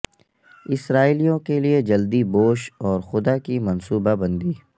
اسرائیلیوں کے لئے جلدی بوش اور خدا کی منصوبہ بندی